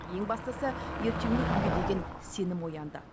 ең бастысы ертеңгі күнге деген сенім оянды